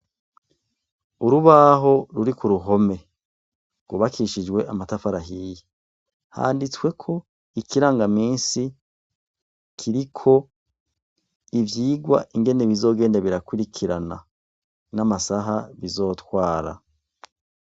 Urubaho ruri k'uruhome rwubakishijwe amatafari ahiye, handitsweko ikirangamisi kiriko ivyigwa ingene bizogenda birakurikirana n'amasaha bizotwara.